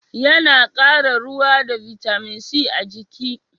Ya na kara ruwa da bitamin c a jiki